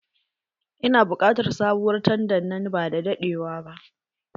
Ina buƙatar sabuwar tanda nan bada daɗewa ba